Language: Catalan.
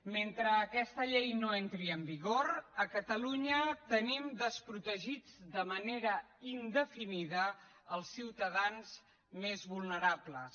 mentre aquesta llei no entri en vigor a catalunya tenim desprotegits de manera indefinida els ciutadans més vulnerables